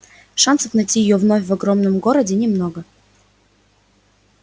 шансов найти её вновь в огромном городе немного